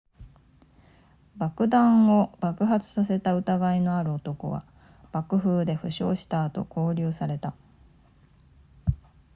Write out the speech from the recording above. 爆弾を爆発させた疑いのある男は爆風で負傷した後拘留された